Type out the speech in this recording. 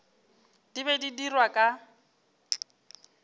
di be di dirwa ka